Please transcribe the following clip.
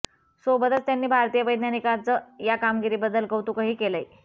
सोबतच त्यांनी भारतीय वैज्ञानिकांचं या कामगिरीबद्दल कौतुकही केलंय